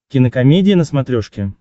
кинокомедия на смотрешке